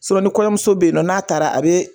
ni kɔɲɔmuso bɛ yen nɔn n'a taara a bɛ